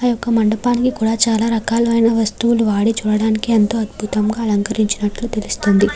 ఈ యొక్క మండపాన్ని కూడా చాలా రకాలైన వస్తువులు వాడి చూడడానికి ఎంత అద్భుతంగా అలంకరించినట్టు తెలుస్తుంది.